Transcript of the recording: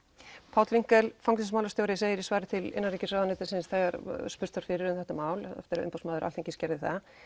Páll fangelsismálastjóri segir í svari til innanríkisráðuneytis þegar spurst var fyrir um þetta mál umboðsmaður Alþingis gerði það